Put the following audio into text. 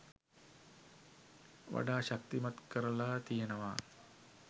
වඩා ශක්තිමත් කරලා තියෙනවා